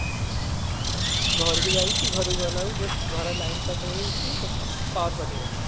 ଘରକୁ ଯାଇଛି ଘରକୁ ଗଲା ବେଳକୁ just ଘର line ପାଖରେ ହେଇଛି ସେଠି power cut ହେଇଗଲା